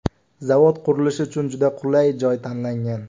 Zavod qurilishi uchun juda qulay joy tanlangan.